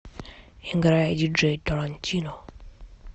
играй диджей тарантино